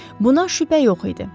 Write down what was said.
Buna şübhə yox idi.